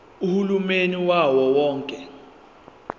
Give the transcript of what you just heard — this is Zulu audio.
uhulumeni wawo wonke